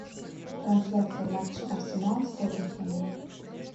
трансляция матча арсенал с тоттенхэмом